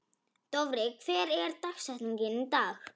Dofri, hver er dagsetningin í dag?